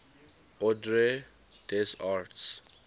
ordre des arts